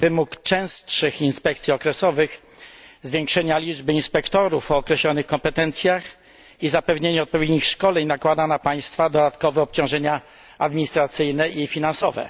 Wymóg częstszych inspekcji okresowych, zwiększenia liczby inspektorów o określonych kompetencjach i zapewnienia odpowiednich szkoleń nakłada na państwa dodatkowe obciążenia administracyjne i finansowe.